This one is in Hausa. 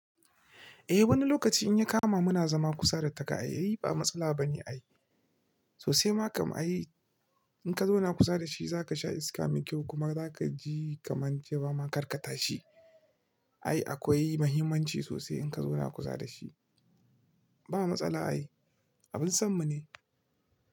Eh, wani lokaci in ya kama muna zama kusa da taka, ai ba matsala bane ai. Sosai ma kam ai in ka zauna kusa da shi, za ka sha iska mai kyau kuma za ka ji kamar kewa ma karkata shi. Ai akwai muhimmanci sosai in ka zauna kusa da shi. Ba matsala ai, abin sammu ne.